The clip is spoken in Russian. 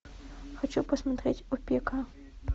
хочу посмотреть опека